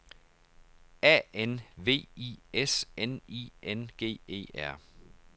A N V I S N I N G E R